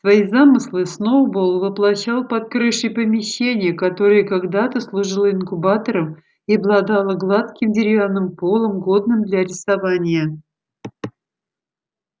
свои замыслы сноуболл воплощал под крышей помещения которое когда-то служило инкубатором и обладало гладким деревянным полом годным для рисования